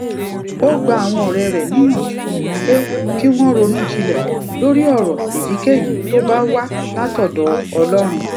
ó gba àwọn òré rè níyànjú pé kí wón ronú jinlè lórí òrò èyíkéyìí tó bá wá látòdò ọlórun